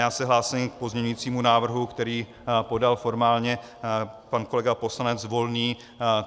Já se hlásím k pozměňovacímu návrhu, který podal formálně pan kolega poslanec Volný.